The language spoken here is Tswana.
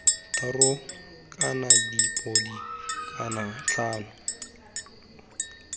thataro kana dipodi kana iv